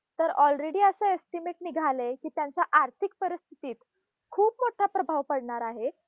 तर already असं estimate निघालंय की त्यांच्या आर्थिक परिस्थितीत खूप मोठा प्रभाव पडणार आहे.